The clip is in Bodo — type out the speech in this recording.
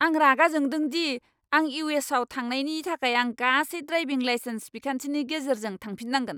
आं रागा जोंदों दि आं इउ. एस. आव थांनायनि थाखाय आं गासै ड्राइभिं लाइसेन्स बिखान्थिनि गेजेरजों थांफिननांगोन।